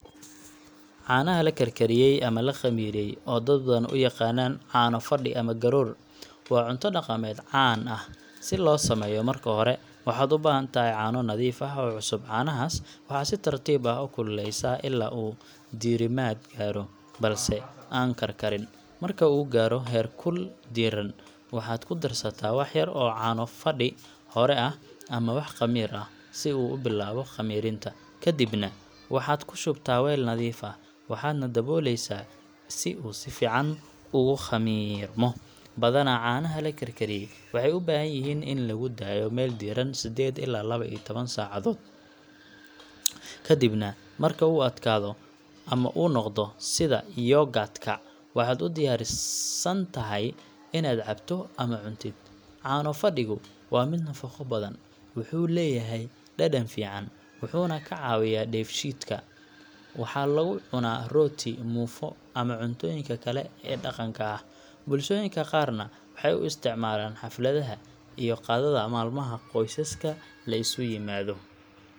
Caanaha la karkariyay ama la khamiiriyay, oo dad badan u yaqaanaan caano fadhi ama garoor, waa cunto dhaqameed caan ah. Si loo sameeyo, marka hore waxaad u baahan tahay caano nadiif ah oo cusub. Caanahaas waxaad si tartiib ah u kululeysaa ilaa uu diirimaad gaaro, balse aan karkarin. Marka uu gaaro heerkul diiran, waxaad ku darsataa wax yar oo caano fadhi hore ah ama wax khamiir ah, si uu u bilaabo khamiirinta. Kadibna waxaad ku shubtaa weel nadiif ah, waxaadna daboolaysaa si uu si fiican ugu khamiirmo. Badanaa, caanaha la karkariyay waxay u baahan yihiin in lagu daayo meel diiran sedded ilaa lawa iyo tawan saacadood. Kadibna, marka uu adkaado ama uu noqdo sida yoghurt ka, waxaad u diyaarsan tahay inaad cabto ama cuntid. Caano fadhigu waa mid nafaqo badan, wuxuu leeyahay dhadhan fiican, wuxuuna ka caawiyaa dheefshiidka. Waxaa lagu cunaa rooti, muufo, ama cuntooyinka kale ee dhaqanka ah. Bulshooyinka qaarna waxay u isticmaalaan xafladaha iyo qadada maalmaha qoysaska la isu yimaado.